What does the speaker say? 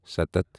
سَتتھ